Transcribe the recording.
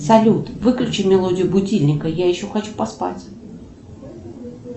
салют выключи мелодию будильника я еще хочу поспать